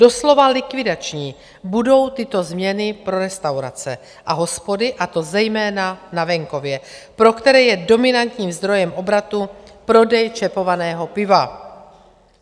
Doslova likvidační budou tyto změny pro restaurace a hospody, a to zejména na venkově, pro které je dominantním zdrojem obratu prodej čepovaného piva.